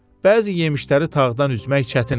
Bəzi yemişləri tağdan üzmək çətin idi.